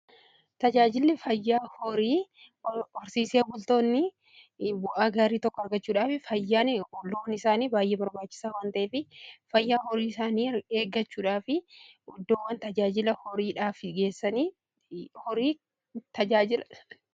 Tajaajili fayyaa hori horsiisee bultoonni bu'aa gaarii tokko argachuudhaaf fayyaan loon isaanii baay'ee barbaachisaa wanteef fayyaa horii isaanii eeggachuudhaa fi iddoowwan tajaajila isaa geessuun horii tajaajila.